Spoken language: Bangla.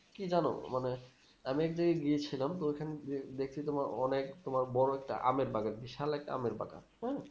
কি জানো মানে আমি এক জায়গায় গিয়েছিলাম তো ওখানে, দেখছি তোমার অনেক তোমার বড় একটা আমের বাগান বিশাল একটা আমের বাগান হুম